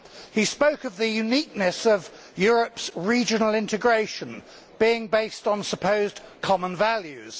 He spoke of the uniqueness of Europe's regional integration being based on supposed common values.